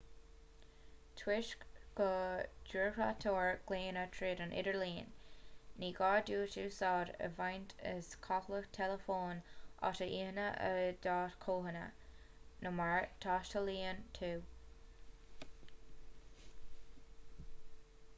toisc go dtreoraítear glaonna tríd an idirlíon ní gá duit úsáid a bhaint as comhlacht teileafóin atá lonnaithe i d'áit chónaithe nó mar a dtaistealaíonn tú